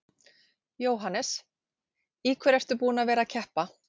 Jóhannes: Í hverju ertu búinn að vera að keppa?